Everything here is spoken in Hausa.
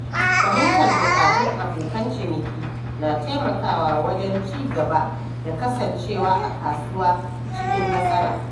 Fahimtar buƙatun abokan ciniki na taimakawa wajen cigaba da kasancewa a kasuwa cikin nasara.